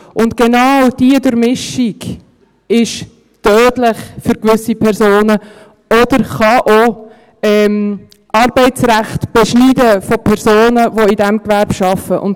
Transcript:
Und genau diese Durchmischung ist für gewisse Personen tödlich oder kann auch Arbeitsrecht beschneiden von Personen, die in diesem Gewerbe arbeiten.